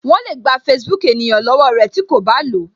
Wọn le gba Facebook ènìyàn lọwọ rẹ tí ko ba lo